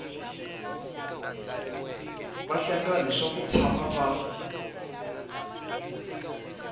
vahlengani swa ku tshama va